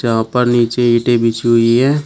यहां पर नीचे ईंटे बिछी हुई है।